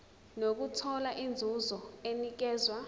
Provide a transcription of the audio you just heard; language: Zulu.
nokuthola inzuzo enikezwa